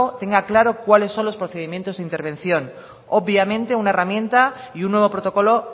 tenga claro cuáles son los procedimientos de intervención obviamente una herramienta y un nuevo protocolo